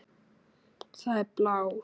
Það er blár.